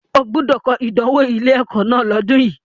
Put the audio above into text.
O gbúdọ̀ kọ ìdánwò ilé-ẹ̀kọ́ náà lọ́dùn yi!